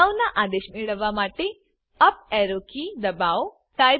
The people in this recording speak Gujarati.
અગાઉના આદેશ મેળવવા માટે અપ એરો કી દબાવો